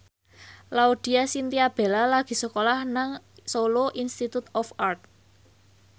Laudya Chintya Bella lagi sekolah nang Solo Institute of Art